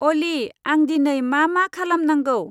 अलि आं दिनै मा मा खालाम नांगौ?